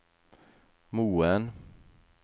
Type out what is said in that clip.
Moen